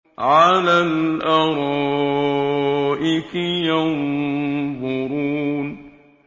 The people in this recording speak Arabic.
عَلَى الْأَرَائِكِ يَنظُرُونَ